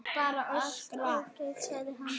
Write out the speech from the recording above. Allt ágætt, sagði hann.